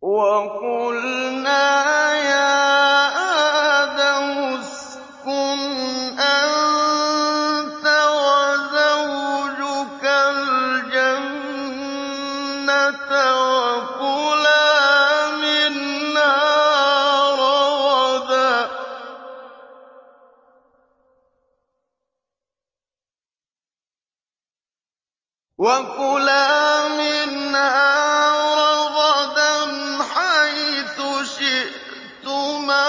وَقُلْنَا يَا آدَمُ اسْكُنْ أَنتَ وَزَوْجُكَ الْجَنَّةَ وَكُلَا مِنْهَا رَغَدًا حَيْثُ شِئْتُمَا